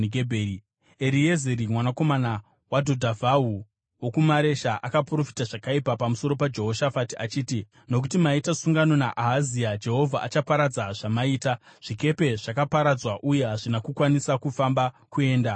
Eriezeri mwanakomana waDhodhavhahu, wokuMaresha akaprofita zvakaipa pamusoro paJehoshafati achiti, “Nokuti maita sungano naAhazia, Jehovha achaparadza zvamaita.” Zvikepe zvakaparadzwa uye hazvina kukwanisa kufamba kuenda kuTashishi.